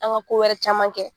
An ka ko wɛrɛ caman kɛ.